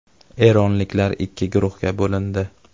Eronliklar ikki guruhga bo‘lindi.